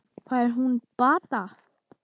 Fær hún bata?